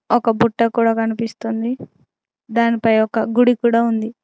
ఒక బుట్ట కూడా కనిపిస్తుంది దానిపై ఒక గుడి కూడా ఉంది.